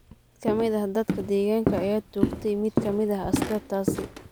Mid kamid ah dadka deegaanka ayaa toogtay mid kamid ah askartaasi.